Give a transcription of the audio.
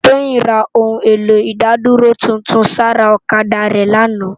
Toyin rá óoun éló idádúró tútún sãrá òkadá rè làná